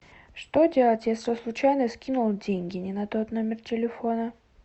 что делать если случайно скинул деньги не на тот номер телефона